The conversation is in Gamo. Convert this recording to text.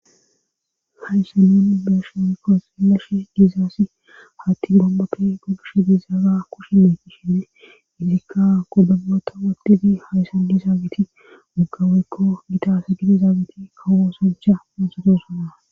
Hayssa nun beesho oykko silashi giizaasi hatti gombaki gogishe dizaara kushime kishinne hizikka godabota wodidi hayssan di zaabiti moggawoykko gitasa gidi zaabiti kawoo sancha monsodosana.